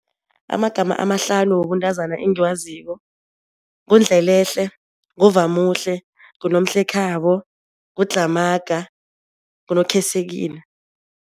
Amagama amahlanu wobuntazana engiwaziko. NguNdlelehle, nguVamuhle, nguNomhlekhabo, nguDlhamaga, nguNokhesekile.